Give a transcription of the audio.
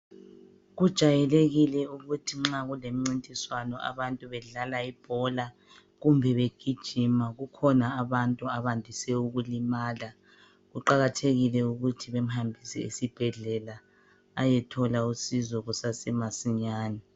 Kujayelekile ukuthi nxa kulemcintiswano, abantu bedlala ibhola kumbe begijima. Kukhona abantu abandise ukulimala. Kuqakathekile ukuthi bemhambise esibhedlela ayethola usizo kusasemasinyane.